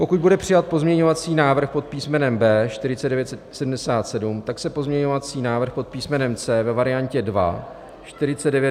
Pokud bude přijat pozměňovací návrh pod písmenem B 4977, tak se pozměňovací návrh pod písmenem C ve variantě 2 - 4995 již nebude hlasovat.